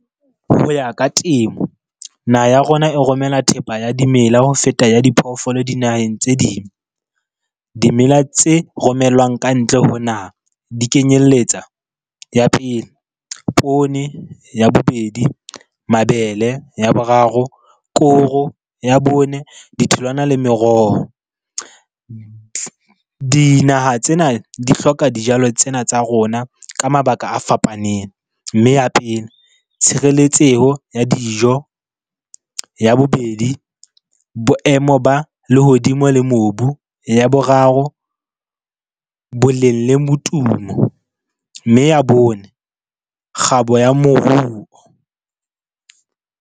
Ho ya ka temo, naha ya rona e romela thepa ya dimela ho feta ya diphoofolo dinaheng tse ding. Dimela tse romellwang ka ntle ho naha di kenyelletsa. Ya pele, poone. Ya bobedi, mabele. Ya boraro, koro. Ya bone, ditholwana le meroho. Dinaha tsena di hloka dijalo tsena tsa rona ka mabaka a fapaneng. Mme ya pele, tshireletseho ya dijo. Ya bobedi, boemo ba lehodimo le mobu. Ya boraro, boleng le motumo. Mme ya bone, kgabo ya moruo.